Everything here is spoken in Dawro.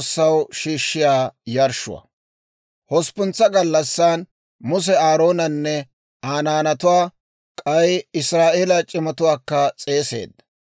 Hosppuntsa gallassan Muse Aaroonanne Aa naanatuwaa, k'ay Israa'eeliyaa c'imatuwaakka s'eeseedda.